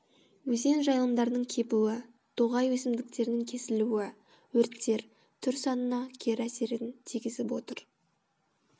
өзен жайылымдарының кебуі тоғай өсімдіктерінің кесілуі өрттер түр санына кері әсерін тигізіп отыр